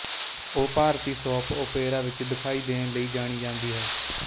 ਉਹ ਭਾਰਤੀ soap opera ਵਿੱਚ ਦਿਖਾਈ ਦੇਣ ਲਈ ਜਾਣੀ ਜਾਂਦੀ ਹੈ